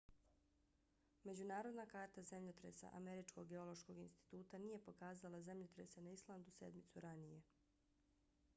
međunarodna karta zemljotresa američkog geološkog instituta nije pokazala zemljotrese na islandu sedmicu ranije